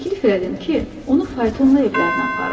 Təklif elədim ki, onu faytonla evlərinə aparım.